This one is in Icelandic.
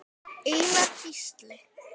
Einar Gísli.